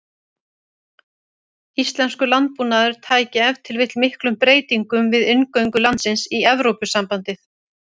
Íslenskur landbúnaður tæki ef til vill miklum breytingum við inngöngu landsins í Evrópusambandið.